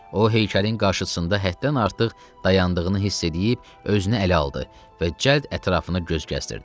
O heykəlin qarşısında həddən artıq dayandığını hiss edib özünü ələ aldı və cəld ətrafını göz gəzdirdi.